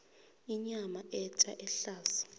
inyama etja ehlaza